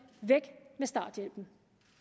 væk med starthjælpen